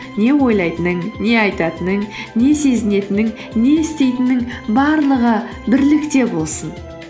не ойлайтының не айтатының не сезінетінің не істейтінің барлығы бірлікте болсын